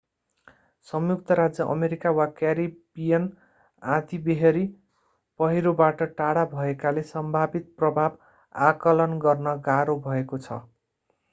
संयुक्त राज्य अमेरिका वा क्यारिबियनमा आँधीबेहरी पहिरोबाट टाढा भएकाले सम्भावित प्रभाव आकलन गर्न गाह्रो भएको छ